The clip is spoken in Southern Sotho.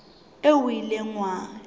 eo o ileng wa e